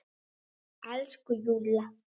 Elsku Júlla!